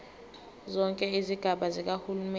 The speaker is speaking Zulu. zonke izigaba zikahulumeni